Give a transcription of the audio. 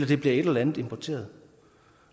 det bliver et eller andet importeret